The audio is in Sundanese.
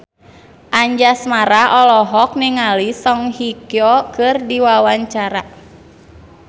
Anjasmara olohok ningali Song Hye Kyo keur diwawancara